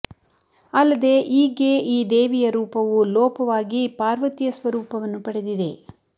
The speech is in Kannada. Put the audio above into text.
ಅಲ್ಲದೆ ಈಗ್ಗೆ ಈ ದೇವಿಯ ರೂಪವು ಲೋಪವಾಗಿ ಪಾರ್ವತಿಯ ಸ್ವರೂಪವನ್ನು ಪಡೆದಿದೆ